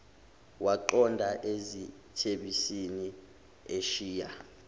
waqonda ezitebhisini eshiya